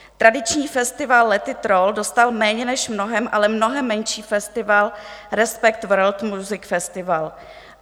Tradiční festival Let It Roll dostal méně než mnohem, ale mnohem menší festival Respect World Music Festival.